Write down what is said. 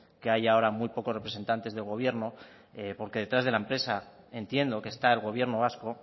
que haya ahora muy pocos representantes del gobierno porque detrás de la empresa entiendo que está el gobierno vasco